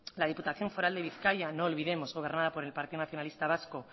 la diputación foral de bizkaia no olvidemos gobernada por el partido nacionalista vasco